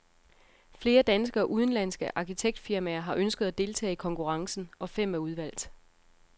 Flere danske og udenlandske arkitektfirmaer har ønsket at deltage i konkurrencen, og fem er udvalgt.